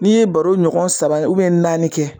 N'i ye baro ɲɔgɔn saba ubiyɛn naani kɛ